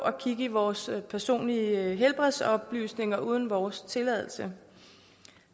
og kigge i vores personlige helbredsoplysninger uden vores tilladelse